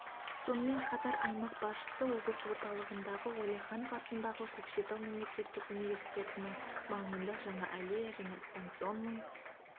сонымен қатар аймақ басшысы облыс орталығындағы уәлиханов атындағы көкшетау мемлекеттік университетінің маңында жаңа аллея және станционный